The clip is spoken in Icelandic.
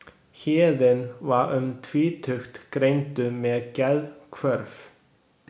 Héðinn var um tvítugt greindur með geðhvörf.